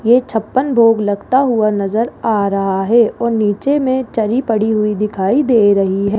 ये छप्पन भोग लगता हुआ नजर आ रहा है और नीचे में दरी पड़ी हुई दिखाई दे रही है।